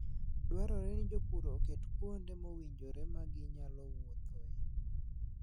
Dwarore ni jopur oket kuonde mowinjore ma ginyalo wuothie.